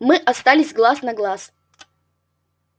мы остались глаз на глаз